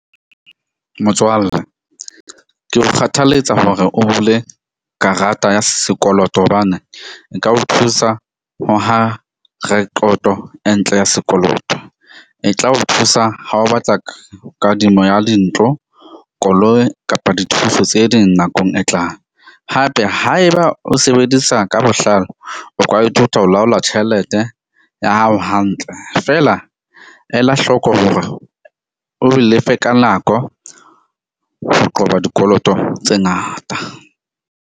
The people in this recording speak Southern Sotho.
Motswalle ke o kgathalletsa hore o bule karata ya sekoloto. Hobane e ka o thusa ho aha rekoto e ntle ya sekoloto. E tla o thusa ha o batla kadimo ya dintlo, koloi kapa dithuso tse ding nakong e tlang. Hape, haeba o sebedisa ka bohlale, o ka ithuta ho laola tjhelete ya hao hantle. Feela ela hlooko hore o lefe ka nako ho qoba dikoloto tse ngata.